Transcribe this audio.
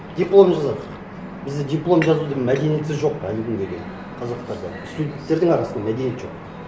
диплом жазады бізде диплом жазудың мәдениеті жоқ әлі күнге дейін қазақтарда студенттердің арасында мәдениет жоқ